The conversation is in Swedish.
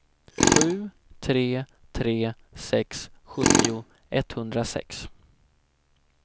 sju tre tre sex sjuttio etthundrasex